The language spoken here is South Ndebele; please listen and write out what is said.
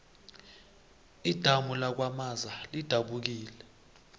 idamu lakwamaza lidabukile